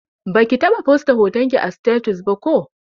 Baki taɓa fosta hotonki a sitatus ba ko?